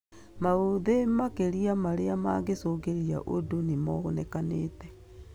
Maũthĩ makĩria marĩa mangĩcĩngirĩria ũndũ nĩmonekanĩte